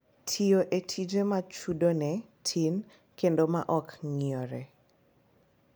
Tiyo e tije ma chudone tin kendo ma ok ng’iyore